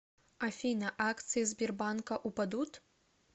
афина акции сбербанка упадут